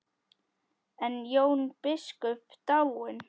Er Jón biskup dáinn?